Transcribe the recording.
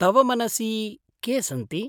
तव मनसि के सन्ति?